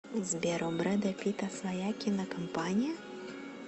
сбер у брэда питта своя кинокомпания